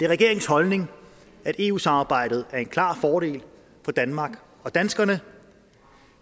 regeringens holdning at eu samarbejdet er en klar fordel for danmark og danskerne